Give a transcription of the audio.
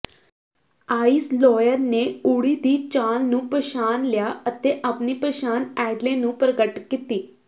ਆਈਸਲੋਇਅਰ ਨੇ ਓਰੀ ਦੀ ਚਾਲ ਨੂੰ ਪਛਾਣ ਲਿਆ ਅਤੇ ਆਪਣੀ ਪਛਾਣ ਐਡਲੇ ਨੂੰ ਪ੍ਰਗਟ ਕੀਤੀ